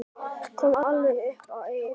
Kom alveg upp að eyranu.